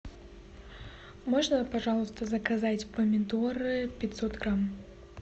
можно пожалуйста заказать помидоры пятьсот грамм